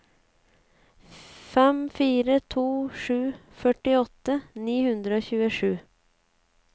fem fire to sju førtiåtte ni hundre og tjuesju